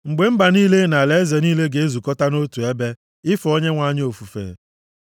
mgbe mba niile na alaeze niile, ga-ezukọta nʼotu ebe, ife Onyenwe anyị ofufe.